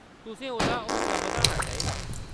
तुसें ओह्‌‌‌दा हौसला बधाना चाहिदा।